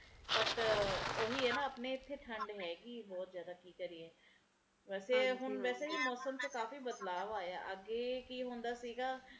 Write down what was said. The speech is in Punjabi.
but ਓਹੀ ਐ ਨਾ ਆਪਣੇ ਇਥੇ ਠੰਡ ਹੇਗੀ ਐ ਬਹੁਤ ਜ਼ਿਆਦਾ ਕੀ ਕਰੀਏ ਅਤੇ ਹੁਣ ਵੈਸੇ ਵੀ ਮੌਸਮ ਚ ਕਾਫੀ ਬਦਲਾਵ ਆਇਆ ਅੱਗੇ ਕੀ ਹੁੰਦਾ ਸੀ ਗਾ